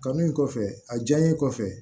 Kanu in kɔfɛ a diyalen kɔfɛ